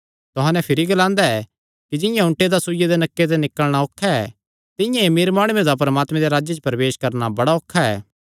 तुहां नैं भिरी ग्लांदा ऐ कि जिंआं ऊँटे दा सूईया दे नक्के ते निकल़णा औखा ऐ तिंआं ई अमीर माणुये दा परमात्मे दे राज्जे च प्रवेश करणा बड़ा औखा ऐ